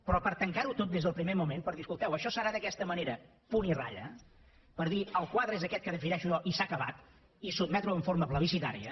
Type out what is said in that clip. però per tancar ho tot des del primer moment per dir escolteu això serà d’aquesta manera punt i ratlla per dir el quadre és aquest que defineixo jo i s’ha acabat i sotmetre ho de forma plebiscitària